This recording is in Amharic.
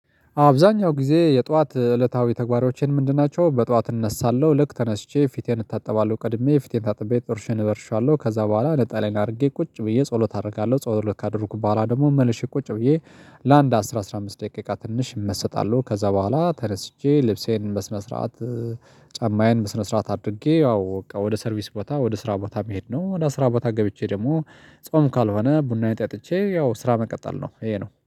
አብዛኛው ጊዜ የጧት እለታዊ ተግባሮቼ ምንድን? ናቸው በጧት እነሳለሁ ልክ ተነስቼ ፊቴን እታጠባለሁ ቀድሜ ፊቴን ታጥቤ ጥርሴን እቦርሻለሁ ከዛ በኋላ ነጠላዬን አድርጌ ቁጭ ብዬ ጸሎት አደርጋለሁ ጸሎት ካደረኩ በኋላ ደግሞ መልሼ ቁጭ ብዬ ለአንድ አስራ አስራ አምስት ደቂቃ ትንሽ እመሰጣለሁ። ከዛ በኋላ ተነስቼ ልብሴን በስነ ስርዓት ጫማዬን በስነ ስርዓት አድርጌ ያው ወደ ሰርቪስ ቦታ ወደ ስራ ቦታ መሄድ ነው። እና ወደ አስራ ቦታ ገብቼ ደግሞ ጾም ካልሆነ ቡናዬን ጠጥቼ ያው ስራ መቀጠል ነው። ይሄ ነው